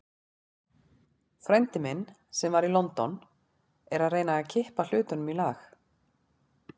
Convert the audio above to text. Frændi minn, sem var í London, er að reyna að kippa hlutunum í lag.